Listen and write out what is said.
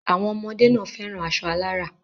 Àwọn ọmọdé náà fẹ́ran aṣọ alárà.